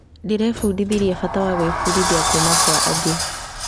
Ndĩrebundithirie bata wa gwĩbundithia kuuma kwa angĩ.